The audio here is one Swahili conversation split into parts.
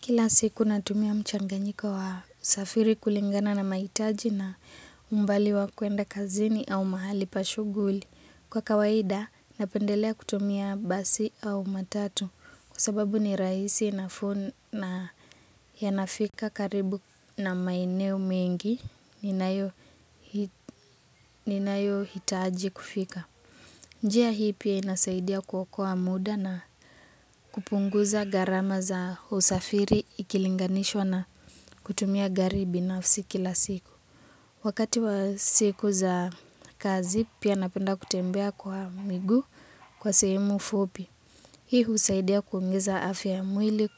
Kila siku natumia mchanganyiko wa usafiri kulingana na mahitaji na umbali wa kuenda kazini au mahali pashughuli. Kwa kawaida napendelea kutumia basi au matatu kwa sababu ni rahisi nafuu na ya nafika karibu na maeneo mengi ninayo hitaji kufika. Njia hii pia inasaidia kuokoa muda na kupunguza gharama za usafiri ikilinganishwa na kutumia gari binafsi ki la siku. Wakati wa siku za kazi pia napenda kutembea kwa miguu kwa sehemu fupi. Hii husaidia kuongeza afya ya mwili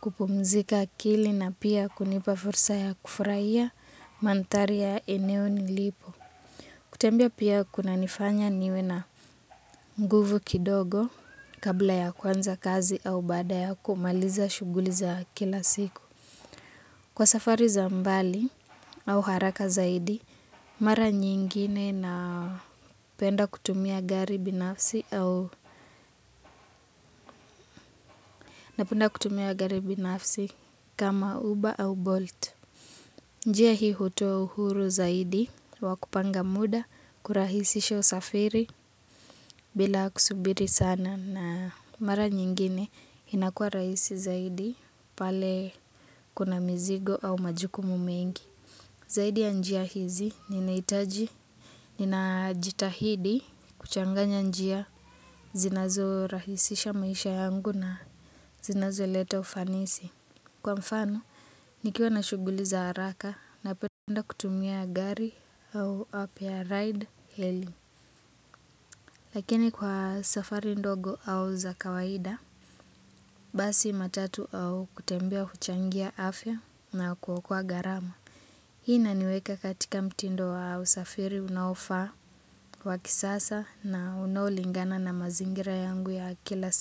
kupumzika akili na pia kunipa fursa ya kufurahia manthari ya eneo nilipo. Kutembea pia kuna nifanya niwe na nguvu kidogo kabla ya kuanza kazi au baada ya kumaliza shughuli za kila siku. Kwa safari za umbali au haraka zaidi mara nyingine napenda kutumia gari binafsi au nafsi kama uba au bolt. Njia hii hutoa uhuru zaidi wakupanga muda kurahisisha usafiri bila kusubiri sana na mara nyingine inakua rahisi zaidi pale kuna mzigo au majukumu mengi. Zaidi ya njia hizi ninahitaji. Nina jitahidi kuchanganya njia zinazo rahisisha maisha yangu na zinazo leta ufanisi. Kwa mfano, nikiwa na shughuli za haraka na penda kutumia gari au app ya ride hailing. Lakini kwa safari ndogo au za kawaida, basi matatu au kutembea huchangia afya na kuokoa gharama. Hii inaniweka katika mtindo wa usafiri unaofaa wa kisasa na unaolingana na mazingira yangu ya kila siku.